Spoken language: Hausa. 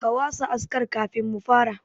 Ka wasa askar kafin mu fara.